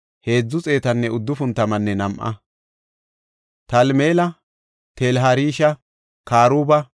Enti Dalaya, Xoobbiyanne Naqooda yarata; enta tayboy 642.